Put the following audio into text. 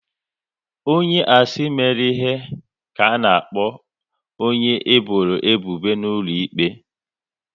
Onye a sị mere ihe, ka a na-akpọ onye e bọrọ ebubo n'ụlọ ikpe